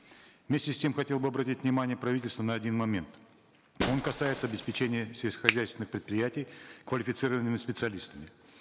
вместе с тем хотел бы обратить внимание правительства на один момент он касается обеспечения сельскохозяйственных предприятий квалифицированными специалистами